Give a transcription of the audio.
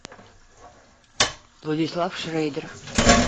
владислав шрейдер